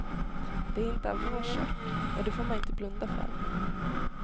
De är inte av vår sort, och det får man inte blunda för.